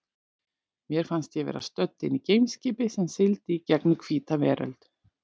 Mér fannst ég vera stödd inni í geimskipi sem sigldi í gegnum hvíta veröld.